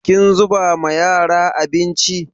Kin zuba ma yara abinci?